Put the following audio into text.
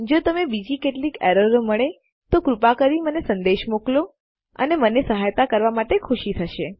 જો તમને બીજી કેટલીક એરારો મળે તો કૃપા કરી મને સંદેશ મોકલો અને મને સહાયતા કરવા માટે ખુશી થશે